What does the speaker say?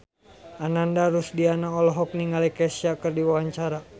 Ananda Rusdiana olohok ningali Kesha keur diwawancara